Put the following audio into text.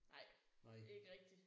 Nej ikke rigtigt